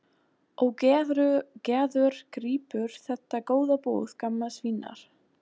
Og Gerður grípur þetta góða boð gamals vinar.